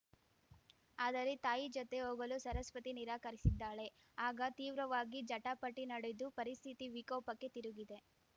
ಆದರೆ ತಾಯಿ ಜತೆ ಹೋಗಲು ಸರಸ್ವತಿ ನಿರಾಕರಿಸಿದ್ದಾಳೆ ಆಗ ತೀವ್ರವಾಗಿ ಜಟಾಪಟಿ ನಡೆದು ಪರಿಸ್ಥಿತಿ ವಿಕೋಪಕ್ಕೆ ತಿರುಗಿದೆ